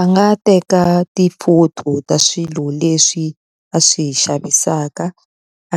A nga teka ti-photo ta swilo leswi a swi xavisaka,